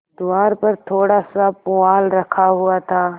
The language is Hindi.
द्वार पर थोड़ासा पुआल रखा हुआ था